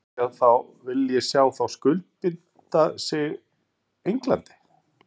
Vil ég sjá þá skuldbinda sig Englandi?